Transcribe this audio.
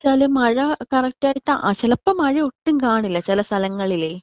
അത് വെച്ചാൽ മഴ കറക്റ്റ് ആ ചെലപ്പോ മഴ ഒട്ടും കാണില്ല ചെല സ്ഥലങ്ങളിലെ.